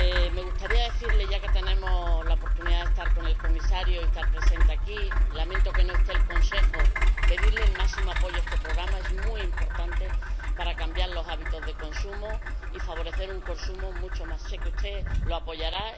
Me gustaría pedirle, ya que tenemos la oportunidad de estar con el Comisario y de estar presentes aquí ―lamento que no esté el Consejo―, el máximo apoyo para este programa es muy importante para cambiar los hábitos de consumo y favorecer un consumo mucho más saludable. Yo sé que usted lo apoyará.